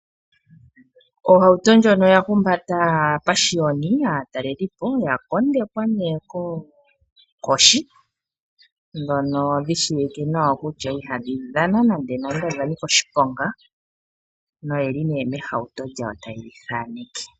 Ohauto ndjono oya humbata aapashiyoni (aatalelipo) oya kondekwa nee koonkoshi, ndhono dhi shiwike nawa kutya ihadhi dhana nande nande odha nika oshiponga , noyeli nee mehauto lyawo taye dhi thaaneke.